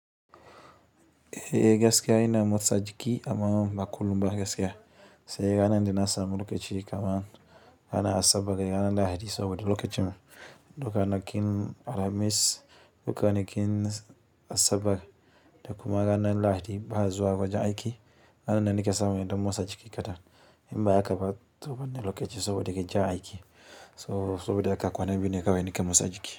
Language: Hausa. Ehh gaskiya ina motsa jiki amma ba kullum ba gaskiya. Sai ranan da nasamu lokaci kamar ranan asabar da ranan lahadi saboda lokacin duka ana ƙin alhamis, duka ne ƙin asabar kuma ranan lahadi ba'a zuwa aiki, ranan make samu in ɗan motsa jiki kaɗan. In ba haka ba to ban da lokaci saboda gajiyan aiki. So saboda haka kwana biyu ne kawai nika motsa jiki.